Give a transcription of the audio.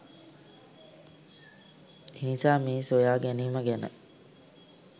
එනිසා මේ සොයා ගෑනීම ගැන